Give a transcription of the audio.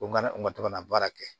U kana u ka to ka na baara kɛ